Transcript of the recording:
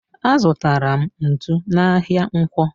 Azutara m ntụ n'ahia ǹkwọ.